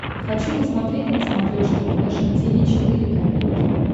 хочу посмотреть на смотрешке фэшн ти ви четыре ка